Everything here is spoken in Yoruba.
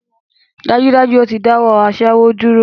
Dájúdájú! Ó ti dáwọ́ aṣẹ́wó dúró